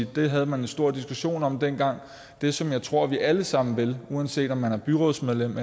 det havde man en stor diskussion om dengang det som jeg tror vi alle sammen vil uanset om man er byrådsmedlem